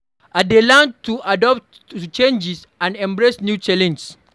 I dey learn to adapt to changes and embrace new challenges.